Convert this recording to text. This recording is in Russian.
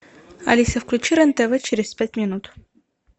алиса включи рен тв через пять минут